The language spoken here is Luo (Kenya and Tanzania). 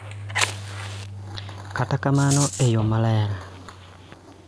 Kata kamano, e yo maler,